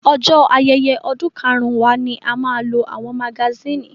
Ọjọ́ ayẹyẹ ọdún karun wa ni a máa lo àwọn magasínì.